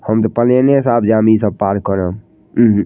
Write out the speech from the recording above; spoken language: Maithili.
हम ते पलेने से आब जानी इ सब पार करब उहूं।